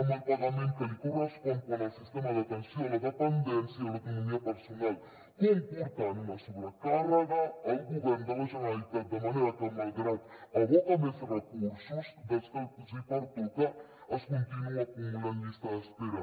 amb el pagament que li correspon quant al sistema d’atenció a la dependència i l’economia personal comportant una sobrecàrrega al govern de la generalitat de manera que malgrat que aboca més recursos dels que li pertoquen es continua acumulant llista d’espera